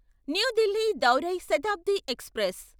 new Delhi దౌరై Shatabdi express